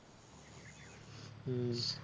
হম